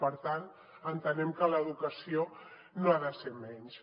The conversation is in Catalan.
per tant entenem que l’educació no ha de ser menys